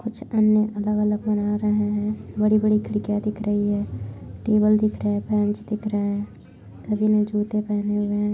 कुछ आने अलग-अलग बना रहे है। बड़ी-बड़ी खिड़किया दिख रही है टेबल दिख रहे है फंस दिख रहे है। सभी ने जूते पेहेने है।